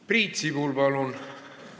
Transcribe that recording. Priit Sibul, palun!